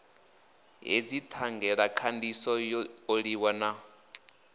hedzi thangelakhandiso yo oliwa na